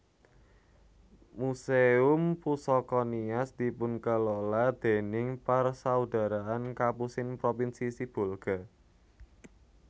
Muséum Pusaka Nias dipunkelola déning Persaudaraan Kapusin Propinsi Sibolga